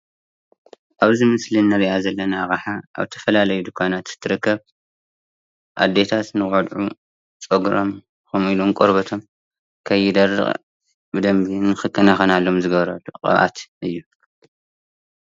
ኣብዚ ምስሊ ንሪኣ ዘለና ኣቕሓ ኣብ ዝተፈላለዩ ድንዃናት ትርከብ ኣዴታት ንቖልዑ ፀጉሮም ከምኡ ኢሉውን ቆርበቶም ከይደርቕ ብደንቢ ንክከናኸነሎም ዝገብር ቅብኣት እዩ።